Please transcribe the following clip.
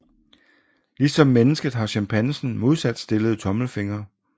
Ligesom mennesket har chimpansen modsatstillede tommelfingre